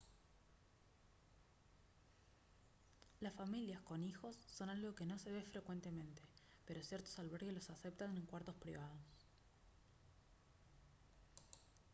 las familias con hijos son algo que no se ve frecuentemente pero ciertos albergues los aceptan en cuartos privados